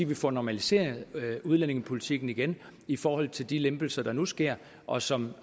vi får normaliseret udlændingepolitikken igen i forhold til de lempelser der nu sker og som